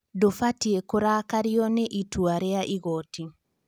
Ndũbatie kũrakario nĩ itua rĩa igoti